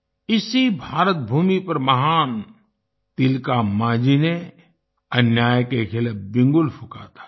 इसी भारत भूमि पर महान तिलका मांझी ने अन्याय के खिलाफ बिगुल फूंका था